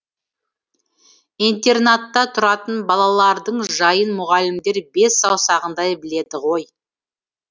интернатта тұратын балалардың жайын мұғалімдер бес саусағындай біледі ғой